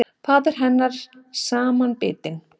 Faðir hennar samanbitinn.